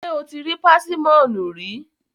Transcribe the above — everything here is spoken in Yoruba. Ṣé o ti rí pásímọ̀nù rí?